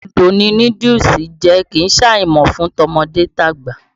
Odù ni núdúùsù jẹ́, kì í ṣàìmọ̀ fún tọmọdé tàgbà.